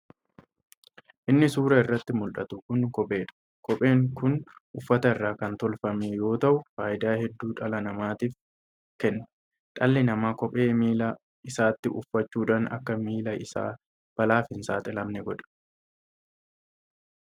Inni suuraa irratti muldhatu kun kopheedha. Kopheen kun uffata irraa kan tolfame yoo ta'u faayidaa hedduu dhala namaatiif kenna. Dhalli namaa kophee miilaa isaatti uffachuudhaan akka milli isaa balaaf hin saaxilamne godha.